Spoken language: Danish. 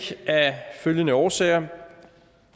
af følgende årsager